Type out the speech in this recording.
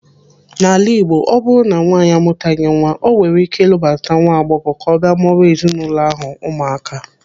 In Igbo land when a woman has no child, she can marry a younger woman to live with her and produce children for the family.